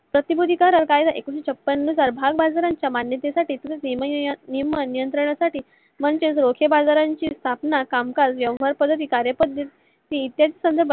प्रतिभूती कायदा एकोणाविशे छपन्न साली भागबाजार मन्यते साठी व नियम व नियात्रना साठी म्हणजे बाजारांची स्थापन कामकाज, व्यवहार पद्विकार यांसाठी